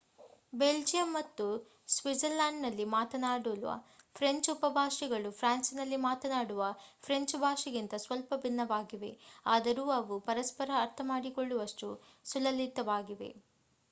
Belgium ಮತ್ತು ಸ್ವಿಟ್ಜರ್‌ಲ್ಯಾಂಡ್‌ನಲ್ಲಿ ಮಾತನಾಡುವ ಫ್ರೆಂಚ್ ಉಪಭಾಷೆಗಳು ಫ್ರಾನ್ಸ್‌ನಲ್ಲಿ ಮಾತನಾಡುವ ಫ್ರೆಂಚ್ ಭಾಷೆಗಿಂತ ಸ್ವಲ್ಪ ಭಿನ್ನವಾಗಿವೆ ಆದರೂ ಅವು ಪರಸ್ಪರ ಅರ್ಥಮಾಡಿಕೊಳ್ಳುವಷ್ಟು ಸುಲಲಿತವಾಗಿವೆ